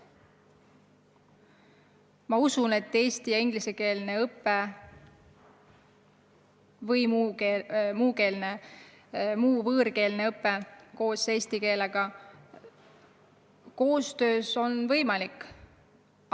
Ma usun, et eesti- ja ingliskeelne õpe või muu võõrkeelne õpe koos eestikeelsega on võimalik.